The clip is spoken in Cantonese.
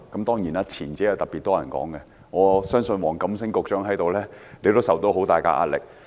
當然，特別多人討論前者，我相信黃錦星局長在此也受到很大壓力。